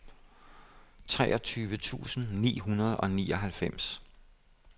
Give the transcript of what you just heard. treogtyve tusind ni hundrede og nioghalvfems